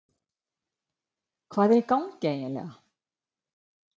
Hvað er í gangi eiginlega?